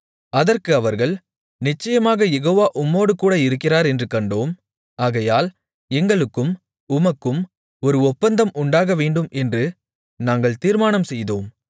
அதற்கு அவர்கள் நிச்சயமாக யெகோவா உம்மோடுகூட இருக்கிறார் என்று கண்டோம் ஆகையால் எங்களுக்கும் உமக்கும் ஒரு ஒப்பந்தம் உண்டாகவேண்டும் என்று நாங்கள் தீர்மானம் செய்தோம்